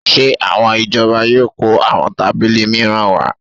Ṣé àwọn ìjọba yóò kó àwọn tábìlì mìíràn wá?